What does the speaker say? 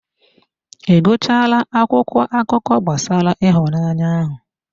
Ị gụchaala akwụkwọ akụkọ gbasara ịhụnanya ahụ?